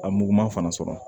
A muguma fana sɔrɔ